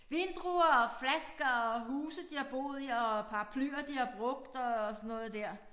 Vindruer og flasker og huse de har boet i og paraplyer de har brugt og sådan noget dér